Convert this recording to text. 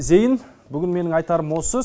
зейін бүгін менің айтарым осы